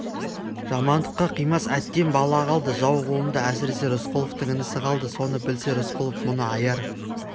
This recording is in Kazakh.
жамандыққа қимас әттең бала қалды жау қолында әсіресе рысқұловтың інісі қалды соны білсе рысқұлов мұны аяр